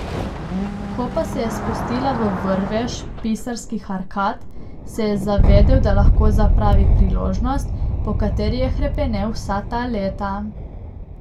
Ko pa se je spustila v vrvež Pisarskih arkad, se je zavedel, da lahko zapravi priložnost, po kateri je hrepenel vsa ta leta.